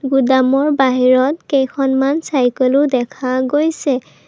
গুদামৰ বাহিৰত কেইখনমান চাইকেলও দেখা গৈছে।